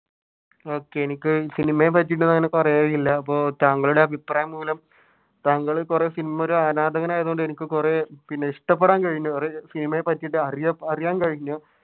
Okay എനിക്ക് സിനിമയെ പറ്റിയിട്ട് നിനക്ക് അപ്പൊ താങ്കളുടെ അഭിപ്രായം മൂലം താങ്കൾ കുറെ സിനിമ ഒരു ആരാധകൻ ആയതു കൊണ്ട് എനിക്ക് കുറെ ഇഷ്ടപ്പെടാൻ കഴിഞ്ഞു സിനിമയെ പറ്റിയിട്ട് അറിഅറിയാൻ കഴിഞ്ഞു.